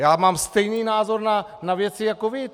Já mám stejný názor na věci jako vy.